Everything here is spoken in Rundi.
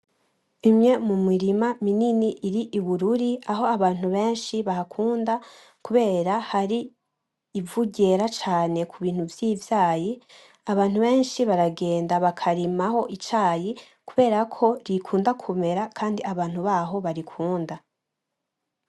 Imwe mu mirima minini iri Ibururi Aho abantu benshi bahakunda kubera hari ivu ryera cane ku bintu vy’ivyayi. Abantu benshi baragenda bakarimaho icayi kubera ko gikunda kumera kandi abantu baho barikunda.